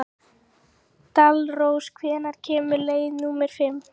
Dalrós, hvenær kemur leið númer fimm?